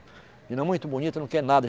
Menina muito bonita, não quer nada.